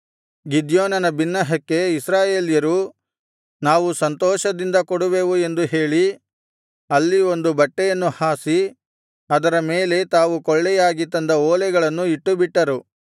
ಗಿದ್ಯೋನನ ಬಿನ್ನಹಕ್ಕೆ ಇಸ್ರಾಯೇಲ್ಯರು ನಾವು ಸಂತೋಷದಿಂದ ಕೊಡುವೆವು ಎಂದು ಹೇಳಿ ಅಲ್ಲಿ ಒಂದು ಬಟ್ಟೆಯನ್ನು ಹಾಸಿ ಅದರ ಮೇಲೆ ತಾವು ಕೊಳ್ಳೆಯಾಗಿ ತಂದ ಓಲೆಗಳನ್ನು ಇಟ್ಟುಬಿಟ್ಟರು